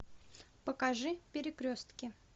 покажи перекрестки